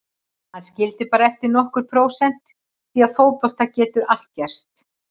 Hann skildi bara eftir nokkur prósent því að í fótbolta getur allt gerst.